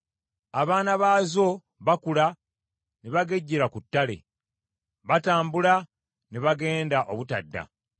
Abaana baazo bakula ne bagejjera ku ttale, batambula ne bagenda obutadda.